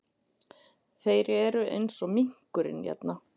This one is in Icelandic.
ÞEIR ERU EINS OG MINKURINN HÉRNA!